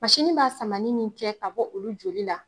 Mansinin b'a samanin min kɛ ka bɔ olu joli la